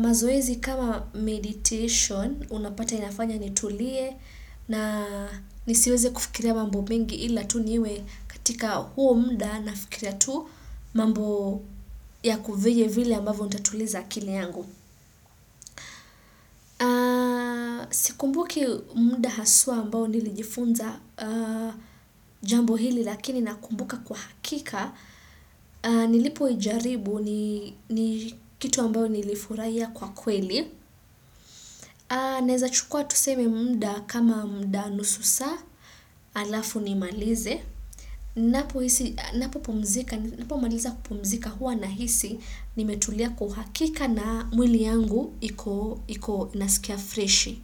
mazoezi kama meditation, unapata inafanya nitulie na nisiweze kufikiria mambomingi ila tu niwe katika huo muda nafikiria tu mambo ya vile ambavyo nitatuliza akili yangu. Sikumbuki muda haswa ambao nilijifunza jambo ili lakini nakumbuka kwa hakika, nilipo ijaribu ni kitu ambayo nilifurahia kwa kweli. Naeza chukua tuseme muda kama muda nusu saa, halafu nimalize. Ninapopumzika, ninapomaliza kupumzika huwa nahisi, nimetulia kwa uhakika na mwili yangu iko, naskia freshi.